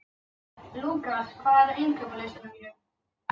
Lúkas, hvað er á innkaupalistanum mínum?